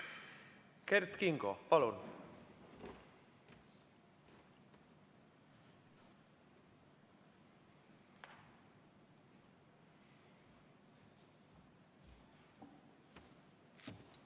Kert Kingo, palun!